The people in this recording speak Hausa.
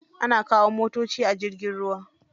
Ana kawo motoci a jirgin ruwa.